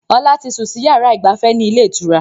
Ọlá tí sun sì yára ìgbafẹ́ ni ilé ìtura